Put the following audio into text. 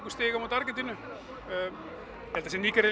stig á móti Argentínu þessi